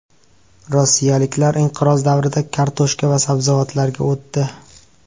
Rossiyaliklar inqiroz davrida kartoshka va sabzavotlarga o‘tdi.